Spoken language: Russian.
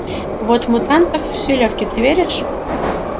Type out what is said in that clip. вот мутантов с филёвки ты веришь